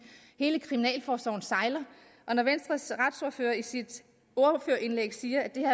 hele kriminalforsorgen sejler når venstres retsordfører i sit ordførerindlæg siger at det her